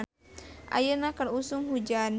Ayeuna keur usum hujan